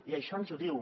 i això ens ho diu